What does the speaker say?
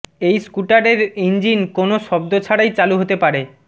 এই স্কুটারের ইঞ্জিন কোনও শব্দ ছাড়াই চালু হতে পারে